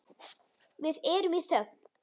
Við erum í þögn.